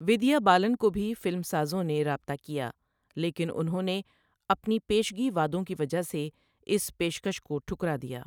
ودیا بالن کو بھی فلمسازوں نے رابطہ کیا، لیکن انہوں نے اپنی پیشگی وعدوں کی وجہ سے اس پیشکش کو ٹھکرا دیا۔